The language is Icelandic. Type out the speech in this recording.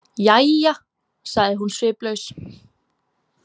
Jæja, sagði hún sviplaus.